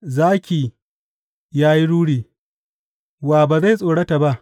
Zaki ya yi ruri, wa ba zai tsorata ba?